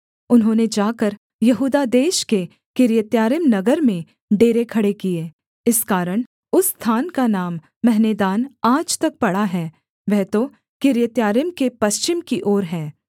उन्होंने जाकर यहूदा देश के किर्यत्यारीम नगर में डेरे खड़े किए इस कारण उस स्थान का नाम महनेदान आज तक पड़ा है वह तो किर्य्यत्यारीम के पश्चिम की ओर है